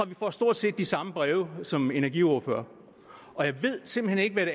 vi får stort set de samme breve som energiordførere og jeg ved simpelt